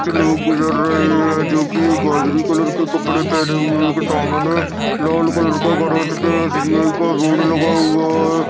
कुछ लोग चल रहे है। जोकी गाजरी कलर के कपड़े पहने हुए है। सामने लाल कलर का गराज पे एसबीआई का बोर्ड लगा हुआ है।